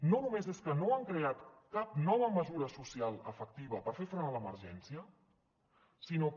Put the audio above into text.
no només és que no han creat cap nova mesura social efectiva per fer front a l’emergència sinó que